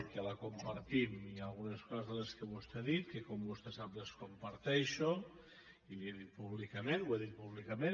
que la compartim i hi ha algunes coses de les que vostè ha dit que com vostè sap les comparteixo i li ho he dit públicament ho he dit públicament